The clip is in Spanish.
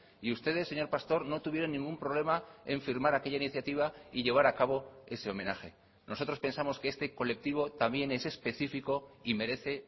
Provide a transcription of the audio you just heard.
y ustedes señor pastor no tuvieron ningún problema en firmar aquella iniciativa y llevar a cabo ese homenaje nosotros pensamos que este colectivo también es específico y merece